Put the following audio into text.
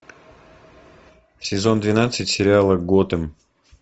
сезон двенадцать сериала готэм